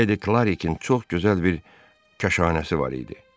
Ledi Klarikin çox gözəl bir kaşanəsi var idi.